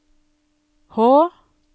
H